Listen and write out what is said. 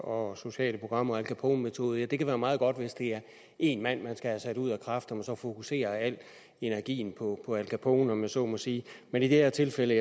og sociale programmer og al capone metoder og det kan være meget godt hvis det er en mand man skal have sat ud af kraft at man så fokuserer al energien på al capone om jeg så må sige men i det her tilfælde